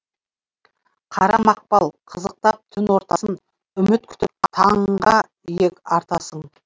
қара мақпал қызықтап түн ортасын үміт күтіп таңға иек артасың